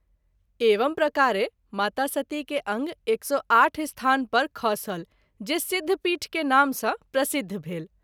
एवं प्रकारे माता सती के अंग 108 स्थान पर खसल जे सिद्धपीठ के नाम सँ प्रसिद्ध भेल।